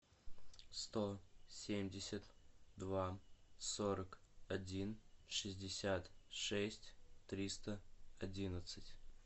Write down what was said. сто семьдесят два сорок один шестьдесят шесть триста одиннадцать